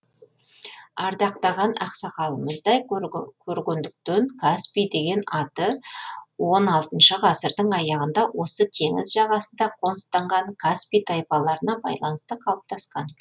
ардақтаған ақсамалымыздай көргендіктен каспий деген аты он алтыншы ғасырдың аяғында осы теңіз жағасында қоныстанған каспи тайпаларына байланысты қалыптасқан